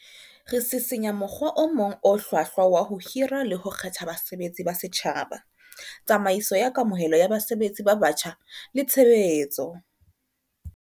Re sisinya mokgwa o mong o hlwahlwa wa ho hira le ho kgetha basebetsi ba setjhaba, tsamaiso ya kamohelo ya basebetsi ba batjha le tshe betso.